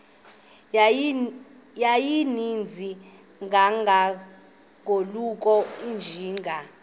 yayininzi kangangokuba izinja